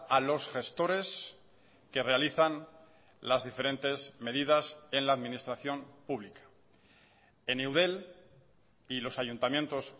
a los gestores que realizan las diferentes medidas en la administración pública en eudel y los ayuntamientos